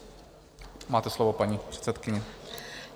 Máte slovo, paní předsedkyně.